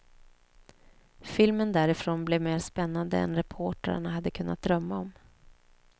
Filmen därifrån blev mer spännande än reportrarna hade kunnat drömma om.